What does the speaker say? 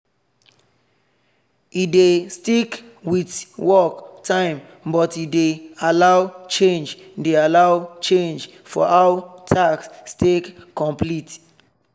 e dey stick with work time but e dey allow change dey allow change for how task take complete.